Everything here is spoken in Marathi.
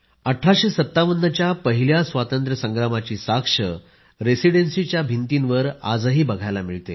1857 च्या स्वातंत्र्य संग्रामाची साक्ष रेसिडेन्सीच्या भिंतींवर आजही बघायला मिळते